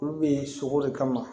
Olu bɛ sogo de kama